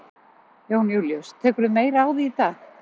Jón Júlíus: Tekurðu meira á því í dag?